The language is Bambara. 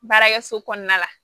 Baarakɛso kɔnɔna la